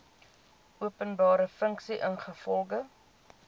openbare funksie ingevolge